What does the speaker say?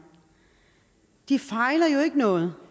de fejler jo ikke noget